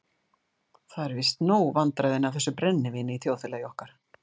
Það eru víst nóg vandræðin af þessu brennivíni í þjóðfélagi okkar.